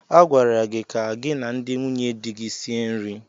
A gwara gị ka gị na ndị nwunye di gị sie nri.